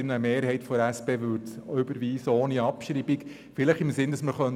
Eine Mehrheit der SP-JUSO-PSA-Fraktion möchte das Postulat überweisen und es nicht abschreiben.